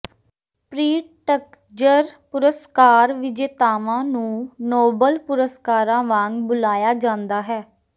Pritzker ਪੁਰਸਕਾਰ ਵਿਜੇਤਾਵਾਂ ਨੂੰ ਨੋਬਲ ਪੁਰਸਕਾਰਾਂ ਵਾਂਗ ਬੁਲਾਇਆ ਜਾਂਦਾ ਹੈ